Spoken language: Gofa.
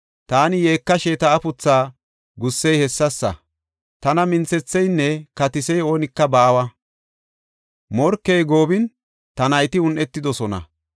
Taani yeekashe ta afuthaa gussey hessasa; tana minthetheynne katisiya oonika baawa; morkey goobin, ta nayti un7etidosona.